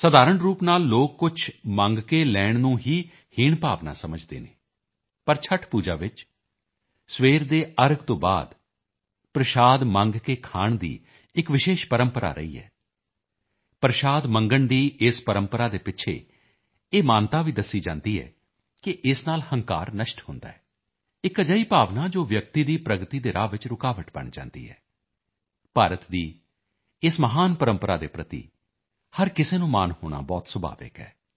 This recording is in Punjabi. ਸਧਾਰਣ ਰੂਪ ਨਾਲ ਲੋਕ ਕੁਝ ਮੰਗ ਕੇ ਲੈਣ ਨੂੰ ਹੀ ਹੀਣ ਭਾਵ ਸਮਝਦੇ ਹਨ ਪਰ ਛਠ ਪੂਜਾ ਵਿੱਚ ਸਵੇਰ ਦੇ ਅਰਘ ਤੋਂ ਬਾਅਦ ਪ੍ਰਸ਼ਾਦ ਮੰਗ ਕੇ ਖਾਣ ਦੀ ਇੱਕ ਵਿਸ਼ੇਸ਼ ਪ੍ਰੰਪਰਾ ਰਹੀ ਹੈ ਪ੍ਰਸ਼ਾਦ ਮੰਗਣ ਦੀ ਇਸ ਪ੍ਰੰਪਰਾ ਦੇ ਪਿੱਛੇ ਇਹ ਮਾਨਤਾ ਵੀ ਦੱਸੀ ਜਾਂਦੀ ਹੈ ਕਿ ਇਸ ਨਾਲ ਹੰਕਾਰ ਨਸ਼ਟ ਹੁੰਦਾ ਹੈ ਇੱਕ ਅਜਿਹੀ ਭਾਵਨਾ ਜੋ ਵਿਅਕਤੀ ਦੀ ਪ੍ਰਗਤੀ ਦੇ ਰਾਹ ਵਿੱਚ ਰੁਕਾਵਟ ਬਣ ਜਾਂਦੀ ਹੈ ਭਾਰਤ ਦੀ ਇਸ ਮਹਾਨ ਪ੍ਰੰਪਰਾ ਦੇ ਪ੍ਰਤੀ ਹਰ ਕਿਸੇ ਨੂੰ ਮਾਣ ਹੋਣਾ ਬਹੁਤ ਸੁਭਾਵਿਕ ਹੈ